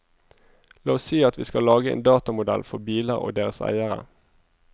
La oss si at vi skal lage en datamodell for biler og deres eiere.